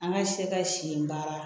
An ka se ka si in baara